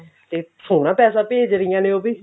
ਤੇ ਸੋਹਣਾ ਪੈਸਾ ਭੇਜ ਰਹੀਆਂ ਨੇ ਉਹ ਵੀ